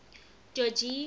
jogee